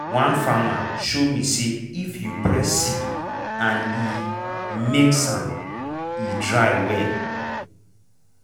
one farmer show me say if you press seed and e make sound e dry well.